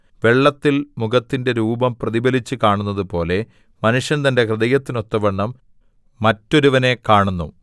വെള്ളത്തിൽ മുഖത്തിന്റെ രൂപം പ്രതിഫലിച്ചുകാണുന്നതുപോലെ മനുഷ്യൻ തന്റെ ഹൃദയത്തിനൊത്തവണ്ണം മറ്റൊരുവനെ കാണുന്നു